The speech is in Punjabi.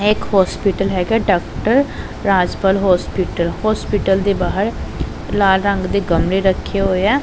ਇਹ ਇੱਕ ਹੌਸਪੀਟਲ ਹੈਗਾ ਡਾਕਟਰ ਰਾਜਪਾਲ ਹੌਸਪੀਟਲ ਹੌਸਪੀਟਲ ਦੇ ਬਾਹਰ ਲਾਲ ਰੰਗ ਦੇ ਗਮਲੇ ਰੱਖੇ ਹੋਏ ਹੈਂ।